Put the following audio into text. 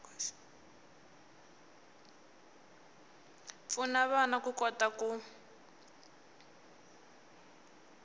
pfuna vana ku kota ku